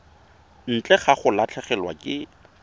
ntle ga go latlhegelwa ke